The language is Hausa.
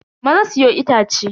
Maza siyo itace.